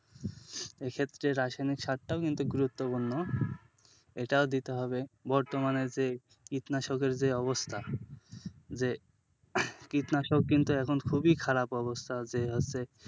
এক্ষেত্রে রাসায়নিক সারটাও কিন্তু গুরুত্বপূর্ণ এটাও দিতে হবে। যে কীটনাশকের যে অবস্থা যে কীটনাশক কিন্তু এখন খুবই খারাপ অবস্থা,